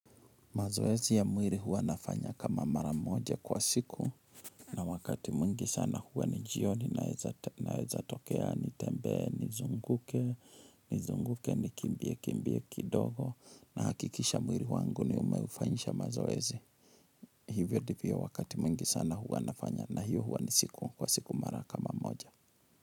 Mazoezi ya mwili huwa nafanya kama mara moja kwa siku na wakati mwingi sana huwa ni jioni naeza tokea nitembee nizunguke nizunguke nikimbie kimbie kidogo nahakikisha mwili wangu nimeufanyisha mazoezi. Hivyo ndivyo wakati mwingi sana huwa nafanya na hiyo huwa ni siku kwa siku mara kama moja.